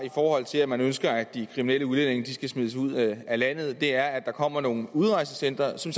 til at man ønsker at de kriminelle udlændinge skal smides ud af landet er at der kommer nogle udrejsecentre som